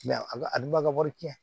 a ka a dun ba ka wari tiɲɛ